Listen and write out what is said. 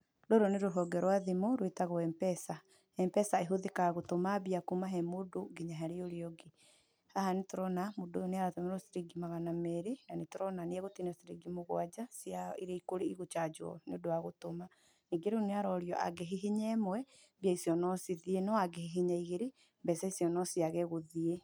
Rũrũ nĩ rũhonge rwa thimũ rwĩtagwo M-Pesa, M-Pesa ĩhũthĩkaga gũtũma mbia kuma he mũndũ nginya harĩ ũrĩa ũngĩ, haha nĩ tũrona, mũndũ ũyũ nĩ aratũmĩrwo ciringi magana merĩ, na nĩ tũrona nĩ egũtinio ciringi mũgwanja, cia iria igũcanjwo nĩũndũ wa gũtũma. Ningĩ rĩu nĩ arorio, angĩhihinya ĩmwe, mbia icio no cithiĩ, no angĩhihinya igĩrĩ, mbeca icio no ciage gũthiĩ.